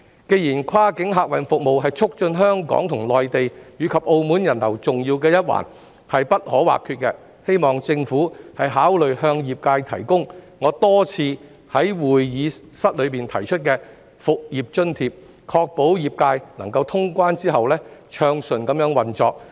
既然跨境客運服務是促進香港與內地及澳門人流重要而不可或缺的一環，我希望政府考慮向業界提供我多次在議會提出的復業津貼，確保業界能夠在通關後暢順運作。